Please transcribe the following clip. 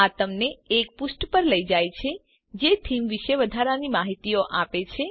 આ તમને એ પુષ્ઠ પર લઇ જાય છે જે થીમ વિશે વધારાની માહિતીઓ આપે છે